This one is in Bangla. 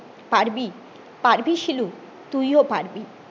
পারবি পারবি শিলু তুই ও পারবি